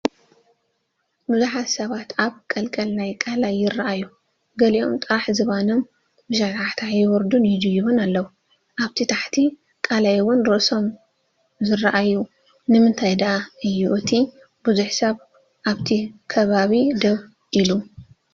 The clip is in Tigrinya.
ብዙሓት ሰባት ኣብ ቀልቀል ናይ ቃላይ ይራኣዩ፣ ገሊኦም ጥራይ ዝባኖም ብሸታሕታሕ ይወርዱን ይድዩቡን ኣለው፣ ኣብ ታሕቲ ቃላይ ውን ርእሶም ዝራኣዩ ፣ ንምንታይ ዳኣ ዩ እቲ ቡዙሕ ሰብ ኣብቲ ከብከብ ደው ኢሉ?